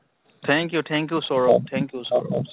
thank you thank you Saurabh, thank you Sourav